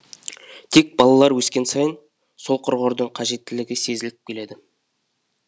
тек балалар өскен сайын ол құрғырдың қажеттілігі сезіліп келеді